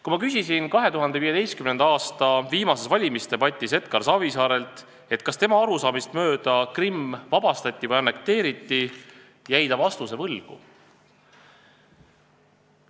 Kui ma küsisin 2015. aasta viimases valimisdebatis Edgar Savisaarelt, kas tema arusaamist mööda Krimm vabastati või annekteeriti, jäi ta vastuse võlgu.